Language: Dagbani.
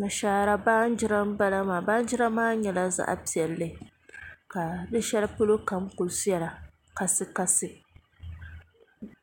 Nashaara baanjira n bala maa baanjira maa nyɛla zaɣ piɛlli ka di shɛli polo kam ku viɛla kasi kasi